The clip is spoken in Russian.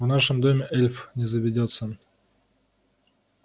в нашем доме эльф не заведётся